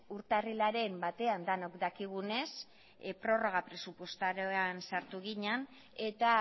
urtarrilaren batan denok dakigunez prorroga presupuestarioan sartu ginen eta